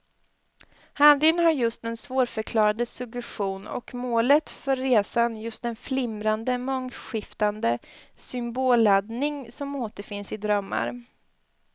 Handlingen har just den svårförklarade suggestion och målet för resan just den flimrande, mångskiftande symbolladdning som återfinns i drömmar.